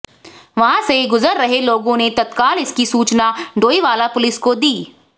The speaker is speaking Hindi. वहां से गुजर रहे लोगों ने तत्काल इसकी सूचना डोईवाला पुलिस को दी